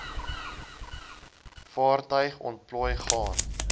vaartuig ontplooi gaan